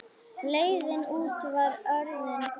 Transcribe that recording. Leiðin út var orðin greið.